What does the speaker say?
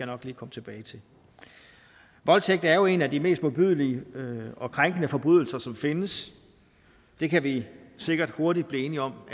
nok lige komme tilbage til voldtægt er jo en af de mest modbydelige og krænkende forbrydelser som findes det kan vi sikkert hurtigt blive enige om